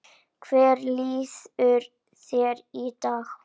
Hvernig líður þér í dag?